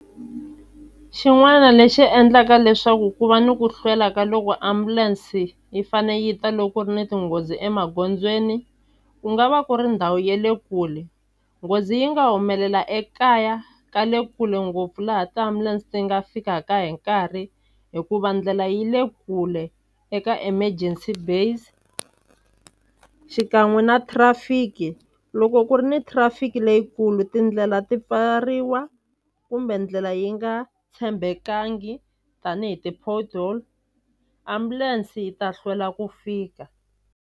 Xin'wana lexi endlaka leswaku ku va ni ku hlwela ka loko ambulense yi fane yi ta loko ku ri ni tinghozi emagondzweni ku nga va ku ri ndhawu ya le kule nghozi yi nga humelela ekaya ka le kule ngopfu laha tiambulense ti nga fikaka hi nkarhi hikuva ndlela yi le kule eka emergency base xikan'we na traffic-i loko ku ri ni traffic-i leyikulu tindlela ti pfariwa kumbe ndlela yi nga tshembekangi tanihi ti-porthole ambulense yi ta hlwela ku fika.